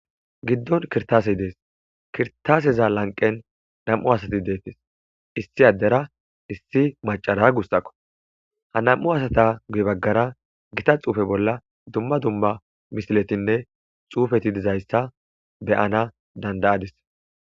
giddon kirtaase dees kirtaaseza lanqen nam'u asati deettes issi addera issi macara gussakko ha nam'u asata guy baggara gita xuufe bola dumma dumma misiletinne xuufeti dizayssa beyana dandayadis